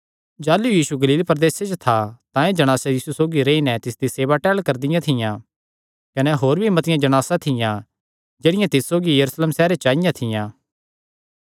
जाह़लू यीशु गलील प्रदेसे च था तां एह़ जणासां यीशु सौगी रेई नैं तिसदी सेवा टहल करदियां थियां कने होर भी मतिआं जणासां थियां जेह्ड़ियां तिस सौगी यरूशलेम सैहरे च आईआं थियां